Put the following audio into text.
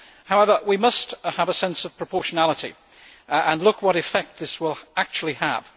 However, we must have a sense of proportionality and look at what effect this will actually have.